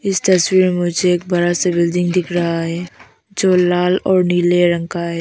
इस तस्वीर में मुझे एक बड़ा सा बिल्डिंग दिख रहा है जो लाल और नीले रंग का है।